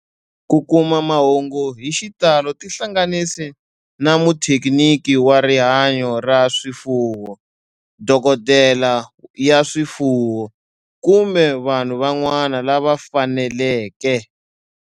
Ku kuma mahungu hi xitalo tihlanganisi na muthekiniki wa rihanyo ra swifuwo, dokodela ya swifuwo, kumbe vanhu van'wana lava fanelekeke.